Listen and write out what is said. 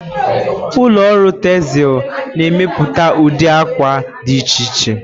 Ụlọ ọrụ tezịl na-emepụta ụdị akwa dị iche iche.